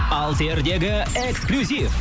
алсердегі эксклюзив